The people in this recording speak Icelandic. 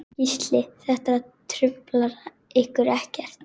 Gísli: Þetta truflar ykkur ekkert?